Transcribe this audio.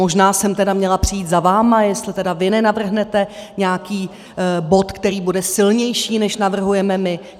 Možná jsem tedy měla přijít za vámi, jestli tedy vy nenavrhnete nějaký bod, který bude silnější, než navrhujeme my.